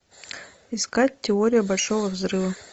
искать теория большого взрыва